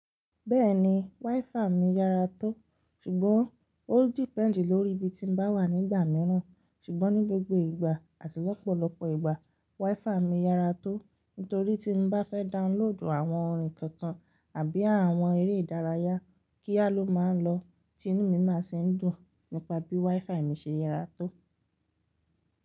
Bẹ́ẹ̀ni, wifi mi yára tó. Ṣùgbọ́n ó depend lórí ibi tí n bá wà nígbà mìíràn. Ṣùgbọ́n ní gbogbo ìgbà àti lọ́pọ̀lọ́pọ̀ ìgbà, wifi mi yára tó. Nítorí tí n bá fẹ́ download àwọn orin kankan àbí àwọn eré ìdárayá, kíá ló máa ń lọ, tinú mi máa sì ń dùn nípa bí wifi mi ṣe yára tó.